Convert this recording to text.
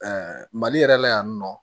mali yɛrɛ la yan nɔ